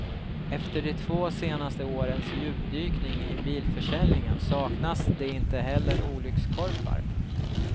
Efter de två senaste årens djupdykning i bilförsäljningen saknas det inte heller olyckskorpar.